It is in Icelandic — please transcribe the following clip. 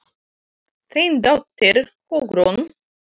Þín dóttir, Hugrún.